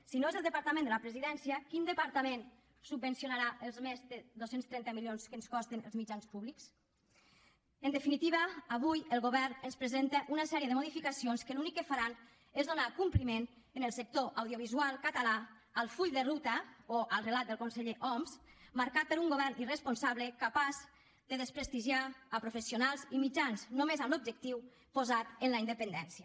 si no és el departament de la presidència quin departament subvencionarà els més de dos cents i trenta milions que ens costen els mitjans públics en definitiva avui el govern ens presenta una sèrie de modificacions que l’únic que faran és donar compliment en el sector audiovisual català al full de ruta o al relat del conseller homs marcat per un govern irresponsable capaç de desprestigiar professionals i mitjans només amb l’objectiu posat en la independència